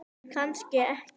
En kannski ekki.